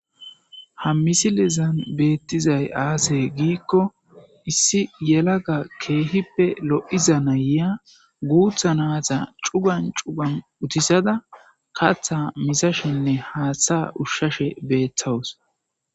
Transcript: ha misilezan beettizay aase giikko issi yelaga keehippe lo7iza nayya guutha naata cuban cuban utisada katha misashinne haaththa ushshashe beethawus